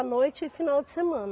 À noite e final de semana.